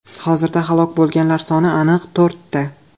Hozirda halok bo‘lganlar soni aniq to‘rtta.